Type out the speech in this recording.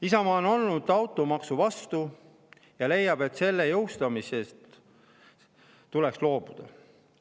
Isamaa on olnud automaksu vastu ja leiab, et selle jõustamisest tuleks loobuda.